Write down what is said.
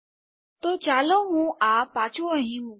તો ચાલો હું આ પાછું અહીં મુકું